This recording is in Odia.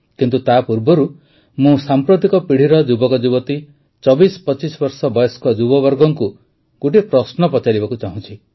କିନ୍ତୁ ତାପୂର୍ବରୁ ମୁଁ ଆଜିର ପିଢ଼ିର ଯୁବକଯୁବତୀ ୨୪୨୫ ବର୍ଷ ବୟସ୍କ ଯୁବବର୍ଗଙ୍କୁ ଗୋଟିଏ ପ୍ରଶ୍ନ ପଚାରିବାକୁ ଚାହୁଁଛି